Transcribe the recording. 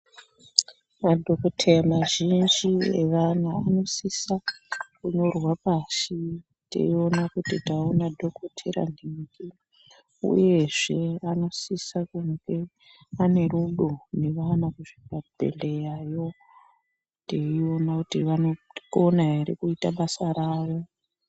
Madhokodheya mazhinji evana anosisa kunyorwa pashi teiona kuti taona dhokotera nhingi. Uyezve anosisa kunge ane rudo nevana kuzvibhehlerayo teiona kuti vanokona ere kuita basa rawo.